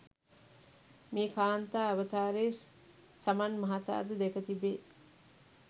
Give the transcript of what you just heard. මේ කාන්තා අවතාරය සමන් මහතා ද දැක තිබේ.